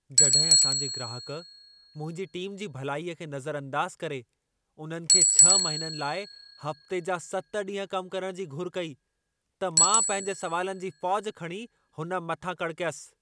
जॾहिं असां जे ग्राहकु, मुंहिंजी टीम जी भलाईअ खे नज़र अंदाज़ करे, उन्हनि खे 6 महिननि लाइ हफ़्ते जा 7 ॾींहं कम करण जी घुर कई, त मां पंहिंजे सवालनि जी फ़ौजि खणी हुन मथां कड़कयसि।